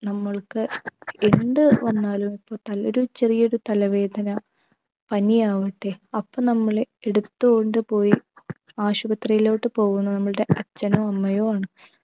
നമ്മൾക്ക് എന്ത് വന്നാലും നല്ലൊരു ചെറിയൊരു തലവേദന പനിയാവട്ടെ അപ്പൊ നമ്മളെ എടുത്ത് കൊണ്ടുപോയി ആശുപത്രിയിലോട്ടു പോവുന്നത് നമ്മൾടെ അച്ഛനോ അമ്മയോ ആണ്